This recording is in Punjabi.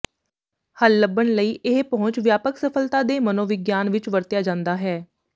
ਹੱਲ ਲੱਭਣ ਲਈ ਇਹ ਪਹੁੰਚ ਵਿਆਪਕ ਸਫਲਤਾ ਦੇ ਮਨੋਵਿਗਿਆਨ ਵਿੱਚ ਵਰਤਿਆ ਜਾਦਾ ਹੈ